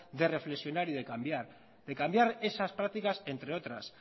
de reflexionar y de cambiar de cambiar esas prácticas entre otras